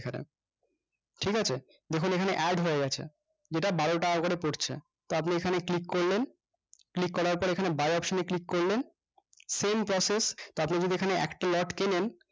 ঠিক আছে দেখুন এখানে add হয়ে গেছে যেইটা বারো টাকা করে পড়ছে তো আপনি এখানে click করলেন click করার পর এইখানে buy option এ click করলেন same process তা আপনি যদি দেখেন তো আপনি যদি এখানে একটা লোট কেনেন